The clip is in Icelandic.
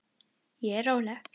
Ég er róleg.